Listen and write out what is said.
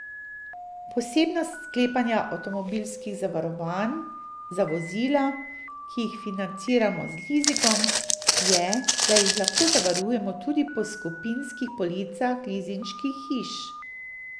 Posebnost sklepanja avtomobilskih zavarovanj za vozila, ki jih financiramo z lizingom, je, da jih lahko zavarujemo tudi po skupinskih policah lizinških hiš.